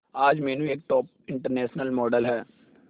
आज मीनू एक top international model है